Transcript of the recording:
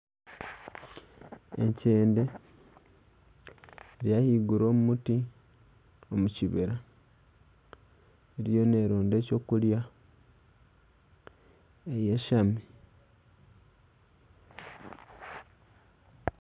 Ekyende eri ahaiguru omu muti omu kibira eriyo neeronda eky'okurya eyeshami